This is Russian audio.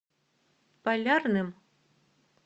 полярным